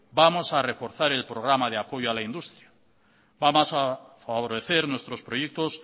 vamos a reforzar el programa de apoyo a la industria vamos a favorecer nuestros proyectos